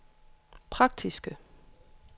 praktiske